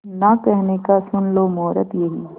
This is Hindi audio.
ना कहने का सुन लो मुहूर्त यही